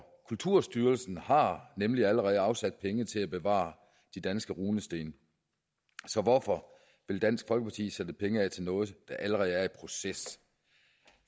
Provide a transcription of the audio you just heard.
kulturstyrelsen har nemlig allerede afsat penge til at bevare de danske runesten så hvorfor vil dansk folkeparti sætte penge af til noget der allerede er i proces